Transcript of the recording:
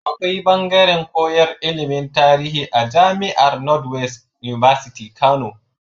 Akwai bangaren koyan ilimin tarihi a jamiar north west university Kano